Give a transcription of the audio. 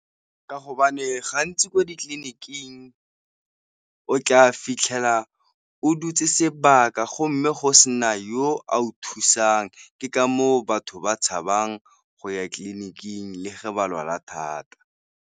Ka hobane gantsi ko ditleliniking o tla fitlhela o dutse sebaka go mme go sena yo a o thusang, ke ka moo batho ba tshabang go ya tleliniking le fa ba lwala thata.